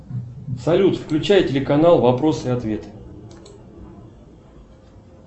салют включай телеканал вопросы и ответы